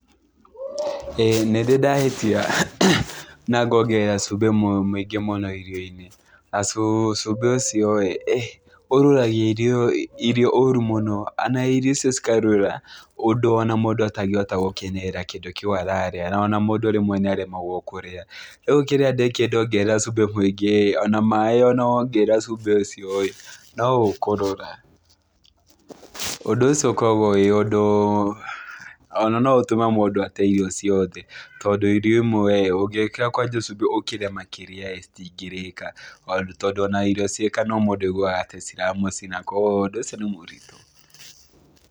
Ĩĩ nĩndĩ ndahĩtia na ngongerera cumbĩ mũingĩ mũno irio-inĩ. Na cumbĩ ũcio ĩĩ, ũrũragia irio ũũru mũno, na irio icio cikarũra ũndũ ona mũndũ atangĩhota gũkenerera kĩndũ kĩu ararĩa. Ona mũndũ rĩmwe nĩaremagwo kũrĩa. Rĩu kĩrĩa ndĩkire ndongerera cumbĩ mũingĩ ĩĩ, ona maaĩ ona wongerera cumbĩ ũcio ĩĩ, no ũkũrũra. Ũndũ ũcio ũkoragwo wĩ ũndũ, ona no ũtũme mũndũ ate irio ciothe, tondũ irio imwe rĩĩ, ũngĩkĩra kwanja cumbĩ ũkĩre makĩria ĩĩ, citingĩrĩka. Tondũ ona irio ciĩ kanua mũndũ aiguaga ta ciramũcina. Kogwo ũndũ ũcio ni mũritũ.